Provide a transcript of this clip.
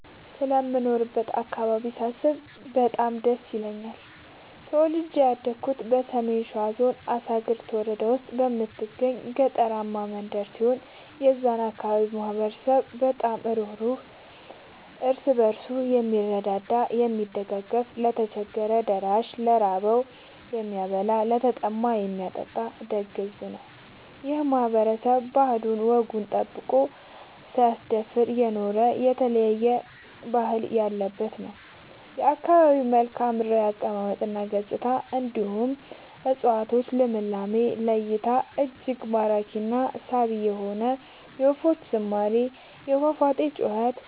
ስለምኖርበት አካባቢ ሳስብ በጣም ደስ ይለኛል። ተወልጄ ያደኩት በሰሜን ሸዋ ዞን አሳግርት ወረዳ ውስጥ በምትገኝ ገጠራማ መንደር ሲሆን የዛ አካባቢ ማህበረሰብ በጣም ሩህሩህ ÷ እርስ በርሱ የምረዳዳ እና የሚደጋገፍ ለቸገረው ደራሽ ÷ ለራበው የሚያበላ ÷ለተጠማ የሚያጠጣ ደግ ሕዝብ ነው። ይህ ማህበረሰብ ባህሉን እና ወጉን ጠብቆ ሳያስደፍር የኖረ የተለያየ ባህል ያለበት ነው። የአካባቢው መልከዓምድራው አቀማመጥ እና ገጽታ እንዲሁም የ እፀዋቶቹ ልምላሜ ለ እይታ እጅግ ማራኪ እና ሳቢ የሆነ የወፎቹ ዝማሬ የፏፏቴው ጩኸት